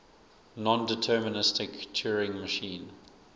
nondeterministic turing machine